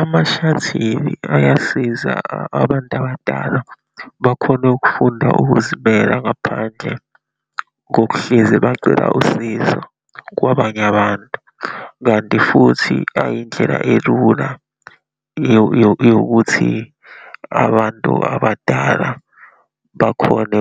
Ama-shuttle ayasiza abantu abadala bakhone ukufunda ukuzimela, ngaphandle kokuhlezi bacela usizo kwabanye abantu, kanti futhi ayindlela elula yokuthi abantu abadala bakhone